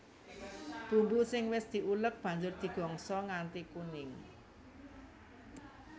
Bumbu sing wis diulek banjur digongso nganti kuning